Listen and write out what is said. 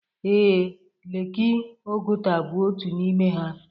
Ee, leeki Oguta bụ otu n'ime ha.